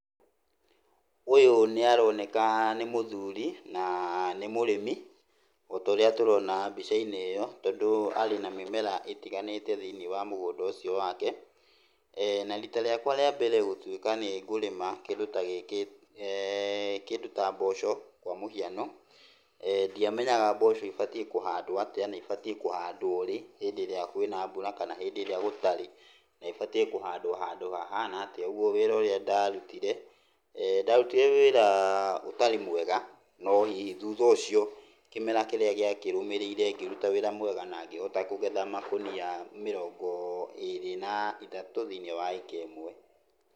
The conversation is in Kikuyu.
Ũyũ nĩaroneka nĩ mũthuri na nĩ mũrĩmi, ota ũrĩa tũrona mbica-inĩ ĩyo tondũ arĩ na mĩmera ĩtiganĩte thĩiniĩ wa mũgũnda ũcio wake. Na rita rĩakwa rĩa mbere gũtuĩka nĩngũrĩma kĩndũ ta gĩkĩ, kĩndũ ta mboco kwa mũhiano, ndiamenyaga mboco ibatiĩ kũhandwo atĩa, na ibatiĩ kũhandwo rĩ hĩndĩ ĩrĩa kwĩna mbura kana hĩndĩ ĩrĩa gũtarĩ, na ibatiĩ kũhandwo handũ hahana atĩa, ũguo wĩra ũrĩa ndarutire, ndarutire wĩra ũtarĩ mwega, no hihi thutha ũcio kĩmera kĩrĩa gĩakĩrũmĩrĩire ngĩruta wĩra mwega na ngĩhota kũgetha makũnia mĩrongo ĩrĩ na ĩthatũ thĩiniĩ wa ĩka ĩmwe.